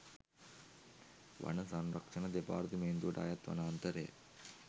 වන සංරක්‍ෂණ දෙපාර්තමේන්තුවට අයත් වනාන්තරය